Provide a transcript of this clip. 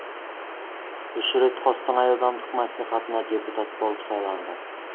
үш рет қостанай аудандық мәслихатына депутат болып сайланды